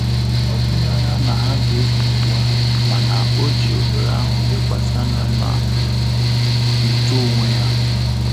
Ọ tughi anya na ha ga-ekewa mana ọjị ohere ahụ lekwasị anya na uto onwe ya